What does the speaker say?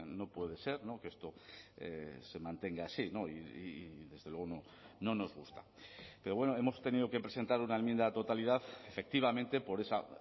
no puede ser que esto se mantenga así y desde luego no nos gusta pero bueno hemos tenido que presentar una enmienda a la totalidad efectivamente por esa